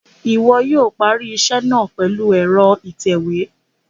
Iwọ yóò parí iṣẹ náà pèlú ẹrọ itẹwe